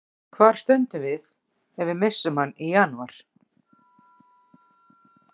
Hvar stöndum við ef við missum hann í janúar?